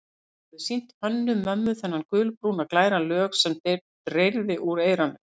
Hann hafði sýnt Hönnu-Mömmu þennan gulbrúna, glæra lög sem dreyrði úr eyranu.